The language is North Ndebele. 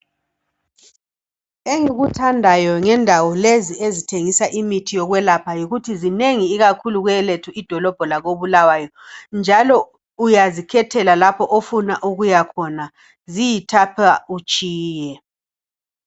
Engikuthandayo ngendawo lezi ezithengisa imithi yokwelapha yikuthi zinengi ikakhulu kwelethu idolobho kobulawayo njalo uyazikhethela lapho ofuna ukuya khona ziyithapha utshiye.